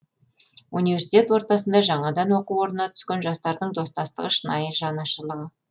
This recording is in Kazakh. университет ортасында жаңадан оқу орнына түскен жастардың достастығы шынайы жанаршылығы